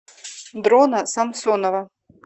дрона самсонова